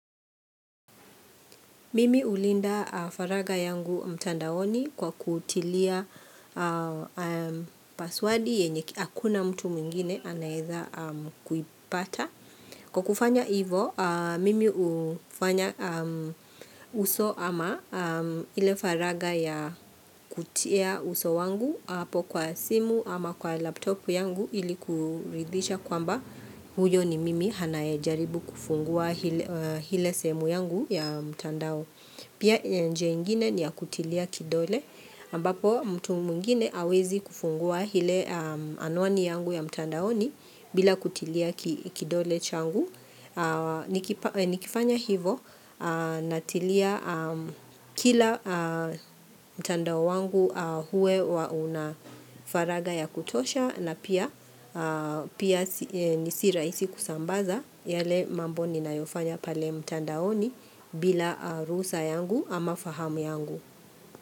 Mimi hulinda faraga yangu mtandaoni kwa kutilia paswadi yenye hakuna mtu mwingine anayeweza kuipata. Kwa kufanya ivo, mimi hufanya uso ama ile faraga ya kutia uso wangu, apo kwa simu ama kwa laptop yangu ili kuridhisha kwamba huyo ni mimi anayejaribu kufungua ile sehemu yangu ya mtandao. Pia njia ingine ni ya kutilia kidole ambapo mtu mwngine hawezi kufungua ile anuani yangu ya mtandaoni bila kutilia kidole changu. Nikifanya hivo natilia kila mtandao wangu huwe wauna faraga ya kutosha na pia nisira isi kusambaza yale mambo ni nayofanya pale mtandaoni bila ruhusa yangu. Ama fahamu yangu.